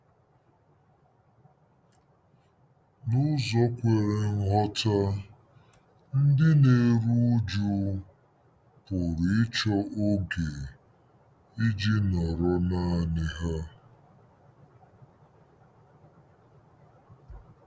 N'ụzọ kwere nghọta, ndị na-eru uju pụrụ ịchọ oge iji nọrọ nanị ha.